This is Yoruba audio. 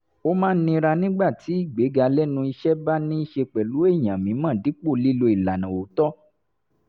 ó máa ń nira nígbà tí ìgbéga lẹ́nu iṣẹ́ bá ní í ṣe pẹ̀lú èèyàn mímọ̀ dípò lílo ìlànà òótọ́